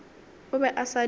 o be a sa di